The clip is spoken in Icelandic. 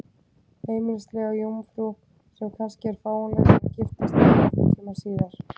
Heimilislega jómfrú, sem kannski er fáanleg til að giftast þér einhvern tíma síðar?